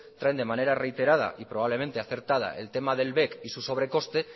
traen de manera reiterada y probablemente acertada el tema del bec y su sobrecoste